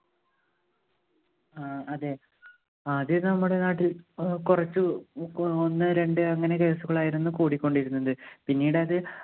ആ അതെ ആദ്യേ നമ്മുടെ നാട്ടിൽ കുറച്ച് ഒന്ന് രണ്ട്‌ അങ്ങനെ case ഉകളായിരുന്നു കൂടിക്കൊണ്ടിരുന്നത്. പിന്നീടത്